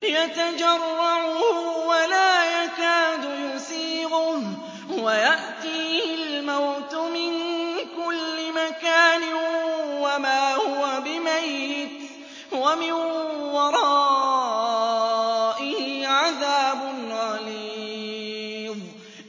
يَتَجَرَّعُهُ وَلَا يَكَادُ يُسِيغُهُ وَيَأْتِيهِ الْمَوْتُ مِن كُلِّ مَكَانٍ وَمَا هُوَ بِمَيِّتٍ ۖ وَمِن وَرَائِهِ عَذَابٌ غَلِيظٌ